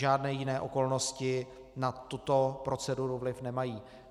Žádné jiné okolnosti na tuto proceduru vliv nemají.